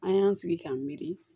An y'an sigi k'an miiri